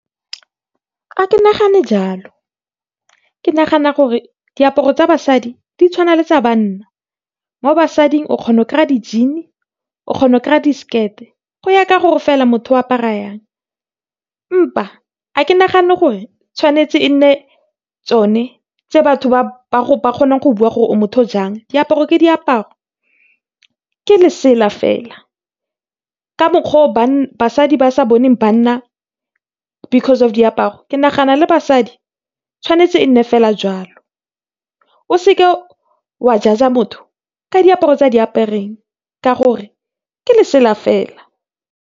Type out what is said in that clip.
Ga ke nagane jalo, ke nagana gore diaparo tsa basadi di tshwana le tsa banna. Mo basading o kgona go di-jean, o kgona go di-skirt, go ya ka gore fela motho o apara yang empa ga ke nagane gore tshwanetse e nne tsone tse batho ba kgonang go bua gore o motho o jang. Diaparo ke diaparo, ke lesela fela ka mokgwa o basadi ba sa boneng banna because of diaparo ke nagana gore le basadi tshwanetse e nne fela jwalo. O seke wa judger motho ka diaparo tse a di apereng ka gore ke lesela fela.